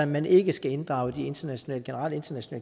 man ikke skal inddrage de generelle internationale